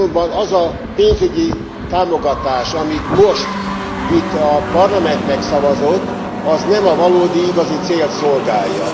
Azonban az a pénzügyi támogatás, amit most itt a Parlament megszavazott, az nem a valódi, igazi célt szolgálja.